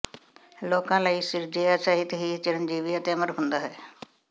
ਲੋਕਾਂ ਲਈ ਸਿਰਜਿਆ ਸਾਹਿਤ ਹੀ ਚਿੰਰਜੀਵੀ ਅਤੇ ਅਮਰ ਹੁੰਦਾ ਹੈ